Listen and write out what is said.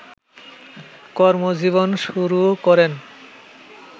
কর্মজীবন শুরু করেন